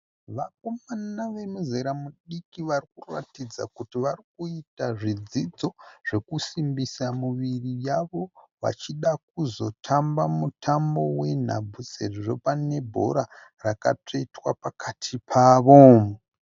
Vakomana vemuzera mudiki vari kuratidza kuti vari kuita zvidzidzo zvekusimbisa miviri yavo vachida kuzotamba mutambo wenhabvu sezvo pane bhora rakatsvetwa pakati pavo.